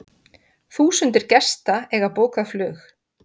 Þúsundir gesta eiga bókað flug.